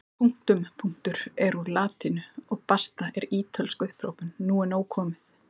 Punktum punktur er úr latínu og basta er ítölsk upphrópun nú er nóg komið!